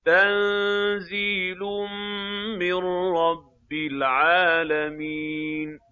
تَنزِيلٌ مِّن رَّبِّ الْعَالَمِينَ